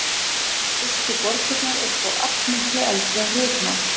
Fyrstu borgirnar eru þó allmiklu eldri en ritmál.